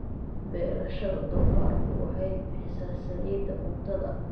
Beerashada doofaarku waxay bixisaa saliidda cuntada.